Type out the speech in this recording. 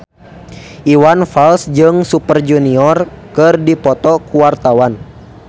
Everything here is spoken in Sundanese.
Iwan Fals jeung Super Junior keur dipoto ku wartawan